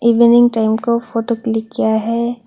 Evening time का photo click किया है।